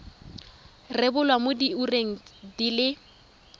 rebolwa mo diureng di le